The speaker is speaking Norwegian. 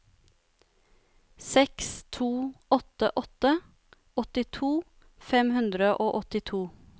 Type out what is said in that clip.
seks to åtte åtte åttito fem hundre og åttito